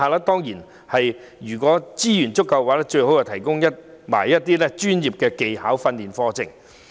當然，如有充足資源的話，便應為他們開辦一些專業技巧訓練課程。